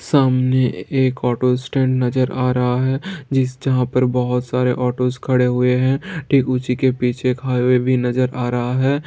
सामने एक auto stand नजर आ रहा है जिस जहां पर बहुत सारे ऑटोस खड़े हुए हैं ठीक उसी के पीछे एक हाईवे भी नजर आ रहा है।